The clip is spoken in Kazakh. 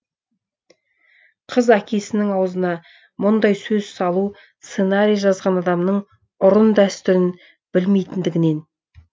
қыз әкесінің аузына мұндай сөз салу сценарий жазған адамның ұрын дәстүрін білмейтіндігінен